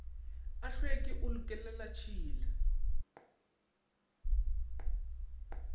a tlhweki o le kelelatshila